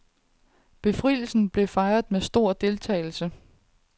Befrielsen blev fejret med stor deltagelse.